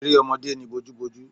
Eré ọmọdé ni bojúbojú